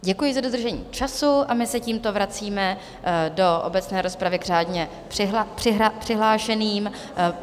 Děkuji za dodržení času a my se tímto vracíme do obecné rozpravy k řádně přihlášeným.